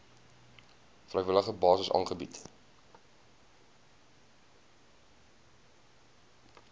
vrywillige basis aangebied